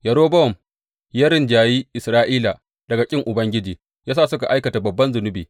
Yerobowam ya rinjayi Isra’ila daga ƙin Ubangiji, ya sa suka aikata babban zunubi.